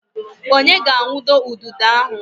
Onye ga-awundo ududo ahụ?